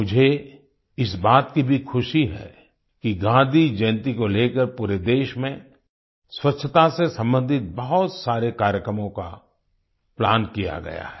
मुझे इस बात की भी खुशी है कि गांधी जयंती को लेकर पूरे देश में स्वच्छता से सम्बंधित बहुत सारे कार्यक्रमों का प्लान किया गया है